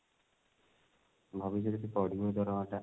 ଭବିଷ୍ୟତ ରେ ଟିକେ ବଢିବ ଦରମା ଟା